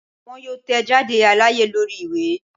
Wọn yoo tẹjade alaye lori iwe